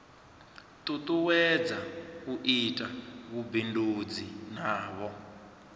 tutuwedza u ita vhubindudzi navho